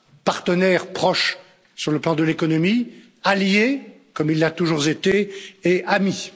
Partenaire proche sur le plan de l'économie, allié comme il l'a toujours été et ami.